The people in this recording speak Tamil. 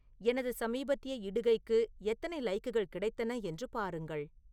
எனது சமீபத்திய இடுகைக்கு எத்தனை லைக்குகள் கிடைத்தன என்று பாருங்கள்